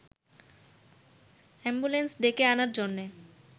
ambulance ডেকে আনার জন্যে